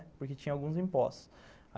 Porque tinha alguns impostos.